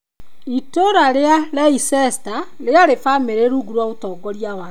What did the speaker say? Itũũra rĩa Leicester rĩarĩ famĩrĩ rungu rwa ũtongoria wake.